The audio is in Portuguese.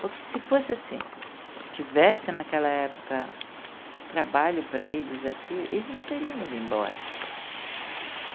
Porque se fosse assim, tivesse naquela época trabalho para eles aqui, eles não teriam ido embora.